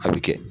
A bɛ kɛ